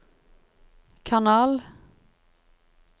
kanal